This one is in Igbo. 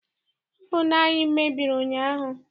Ovunu anyị mebiri ụnyaahụ.